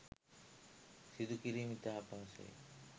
සිදු කිරීම ඉතා අපහසුය.